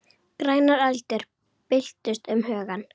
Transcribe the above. Grænar öldur byltust um hugann.